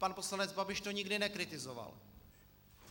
Pan poslanec Babiš to nikdy nekritizoval.